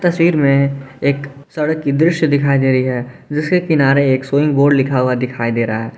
तस्वीर में एक सड़क की दृश्य दिखाई दे रही है जिसके किनारे एक सुइंग बोर्ड लिखा हुआ दिखाई दे रहा है।